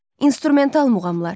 İnstrumental muğamlar.